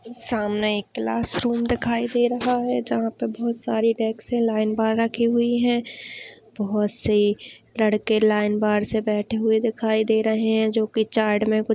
सामने एक classroom दिखाई दे रहा है जहा पे बहुत सारे डेस्क लाइन पर रखी हुई है बहुत से लड़के लाइन के बाहर से बैठे हुये दिखाई दे रहे है जो की चार्ट मे कुछ --